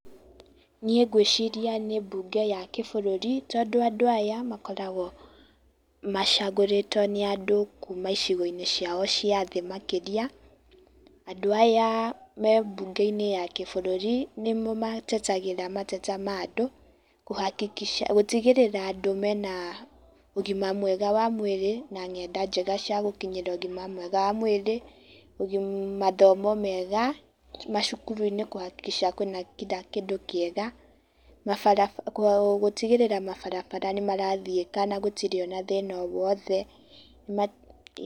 Niĩ ngwĩciria nĩ mbunge ya kĩbũrũri tondũ andũ aya makoragwo macagũrĩtwo nĩ andũ kuma icigo-inĩ ciao cia thĩ makĩria. Andũ aya me mbunge-inĩ ya kĩbũrũri nĩmo matetagĩra mateta ma andũ kũ hakikisha gũtigĩrĩra andũ mena ũgima mwega wa mwĩrĩ na ng'enda njega cia gũkinyĩrĩra ũgima mwega wa mwĩrĩ, mathomo mega macukuru-inĩ kũ hakikisha kwĩna kila kĩndũ kĩega na bara, gũtigĩrĩra mabarabara nĩ marathiĩka na gũtiri o na thĩna o wothe